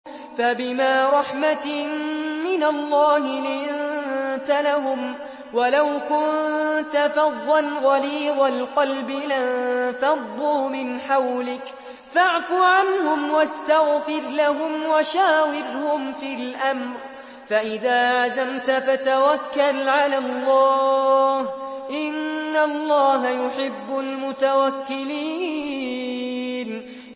فَبِمَا رَحْمَةٍ مِّنَ اللَّهِ لِنتَ لَهُمْ ۖ وَلَوْ كُنتَ فَظًّا غَلِيظَ الْقَلْبِ لَانفَضُّوا مِنْ حَوْلِكَ ۖ فَاعْفُ عَنْهُمْ وَاسْتَغْفِرْ لَهُمْ وَشَاوِرْهُمْ فِي الْأَمْرِ ۖ فَإِذَا عَزَمْتَ فَتَوَكَّلْ عَلَى اللَّهِ ۚ إِنَّ اللَّهَ يُحِبُّ الْمُتَوَكِّلِينَ